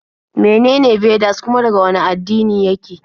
Menene Vedas kuma daga wane addini yake?